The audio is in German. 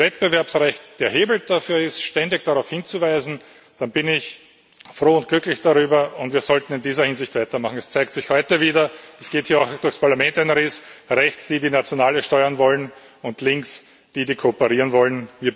Wenn das Wettbewerbsrecht der Hebel dafür ist, ständig darauf hinzuweisen, dann bin ich froh und glücklich darüber, und wir sollten in dieser Hinsicht weitermachen. Es zeigt sich heute wieder Es geht auch hier durchs Parlament ein Riss rechts diejenigen, die nationale Steuern wollen, und links diejenigen, die kooperieren wollen.